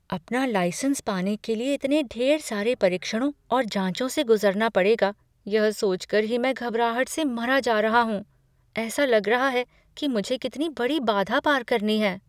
अपना लाइसेंस पाने के लिए इतने ढेर सारे परीक्षणों और जाँचों से गुजरना पड़ेगा, यह सोच कर ही मैं घबराहट से मरा जा रहा हूँ। ऐसा लग रहा है कि मुझे कितनी बड़ी बाधा पार करनी है।